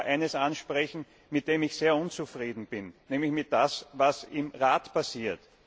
Ich möchte aber eines ansprechen, mit dem ich sehr unzufrieden bin, nämlich mit dem, was im Rat passiert.